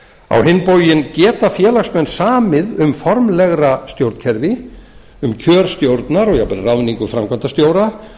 á hinn bóginn geta félagsmenn samið um formlegra stjórnkerfi um kjör stjórnar og jafnvel ráðningu framkvæmdastjóra